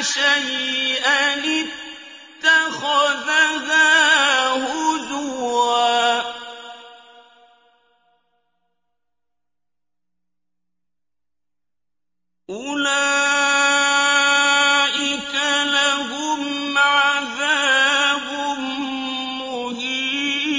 شَيْئًا اتَّخَذَهَا هُزُوًا ۚ أُولَٰئِكَ لَهُمْ عَذَابٌ مُّهِينٌ